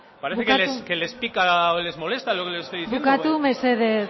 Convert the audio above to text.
parece que les pica o les molesta lo que les estoy diciendo bukatu mesedez